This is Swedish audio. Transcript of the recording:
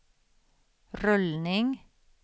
rullning